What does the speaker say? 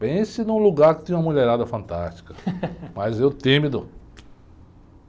Pense num lugar que tinha uma mulherada fantástica, mas eu tímido.